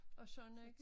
Og sådan ikke